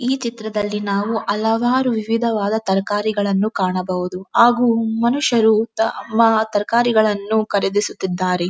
ಈ ಚಿತ್ರದಲ್ಲಿ ನಾವು ಹಲವಾರು ವಿವಿಧವಾದ ತರಕಾರಿಗಳನ್ನು ಕಾಣಬಹುದು ಹಾಗು ಮನುಷ್ಯರು ತ ತಮ್ಮ ತರಕಾರಿಗಳನ್ನು ಖರೀದಿಸುತ್ತಿದ್ದಾರೆ.